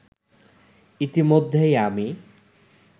ইতিমধ্যেই আমি